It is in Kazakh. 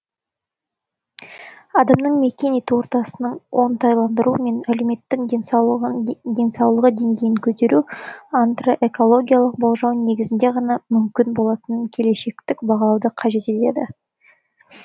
адамның мекен ету ортасының оңтайландыру мен әлеуметтің денсаулығы деңгейін көтеру антропоэкологиялық болжау негізінде ғана мүмкін болатын келешектік бағалауды қажет етеді